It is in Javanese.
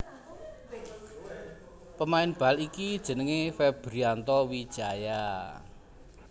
Pemain bal iki jenengé Febrianto Wijaya